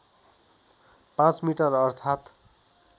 ५ metre अर्थात्